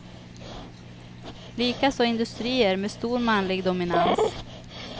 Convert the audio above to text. Likaså industrier med stor manlig dominans.